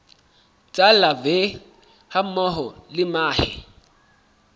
tsa larvae hammoho le mahe